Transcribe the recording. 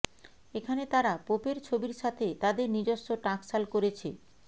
এখানে তারা পোপের ছবির সাথে তাদের নিজস্ব টাকশাল করেছে